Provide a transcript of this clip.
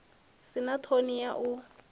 si na ṱhoni ya u